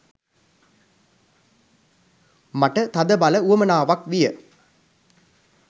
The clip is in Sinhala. මට තදබල උවමනාවක් විය.